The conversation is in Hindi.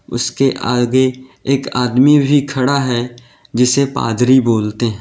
उसके आगे एक आदमी भी खड़ा है जिसे पादरी बोलते है।